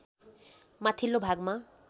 माथिल्लो भागमा